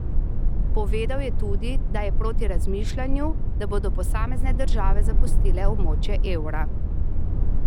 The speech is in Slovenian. Povedal je tudi, da je proti razmišljanju, da bodo posamezne države zapustile območje evra.